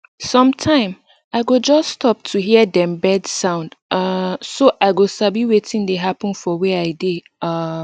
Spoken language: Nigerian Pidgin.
sometime i go just stop to hear dem bird sound um so i go sabi wetin dey happen for where i dey um